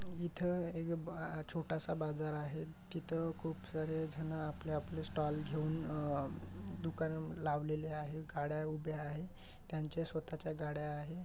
इथ एक ब छोटा स बाजार आहे तिथ खूप सारे जन आपले आपले स्टोल घेऊन दुकान लावलेली आहेत गाड्या उभे आहेत त्यांचे स्वतच्या गाड्या आहे.